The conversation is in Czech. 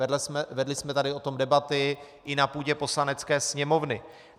Vedli jsme tady o tom debaty i na půdě Poslanecké sněmovny.